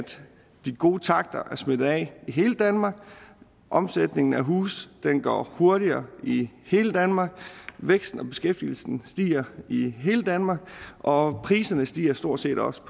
de gode takter har smittet af i hele danmark omsætningen af huse går hurtigere i hele danmark væksten og beskæftigelsen stiger i hele danmark og priser stiger stort set også